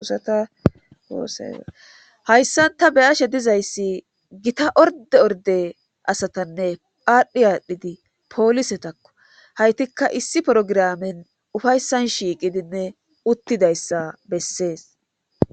Usatasehayssanta beyashe dizayssi gita orde orde asatanne paadhdhi aadhdhidi poolisetakko haytikka issi porogiramen ufayssan shiiqidinne uttidayssa bessees.